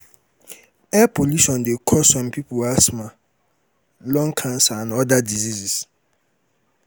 air polution de cause some pipo ashma lung cancer and other diseases